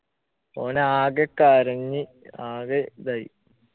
ഓൻ ആകെ കരഞ്ഞ് ആകെ ഇതായി